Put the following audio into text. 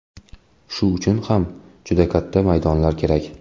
Shu uchun ham juda katta maydonlar kerak.